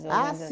Ah,